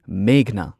ꯃꯦꯘꯅꯥ